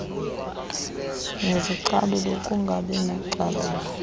nezocalulo ukungabi nacalulo